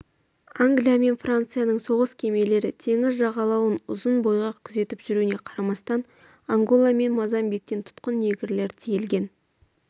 англия мен францияның соғыс кемелері теңіз жағалауын ұзына бойға күзетіп жүруіне қарамастан ангола мен мозамбиктен тұтқын негрлер тиелген